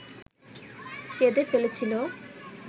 কেঁদে ফেলেছিল